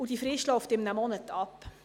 Diese Frist läuft in einem Monat ab.